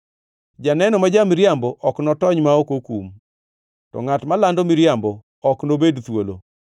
Janeno ma ja-miriambo ok notony ma ok okum, to ngʼatno malando miriambo ok nobed thuolo.